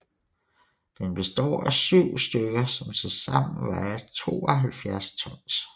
Den består af 7 stykker som til sammen vejer 72 tons